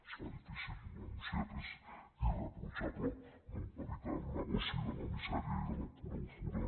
es fa difícil anunciar que és irreprotxable no evitar el negoci de la misèria i de la pura usura